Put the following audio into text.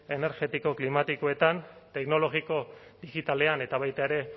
energetiko klimatikoetan teknologiko digitalean eta baita ere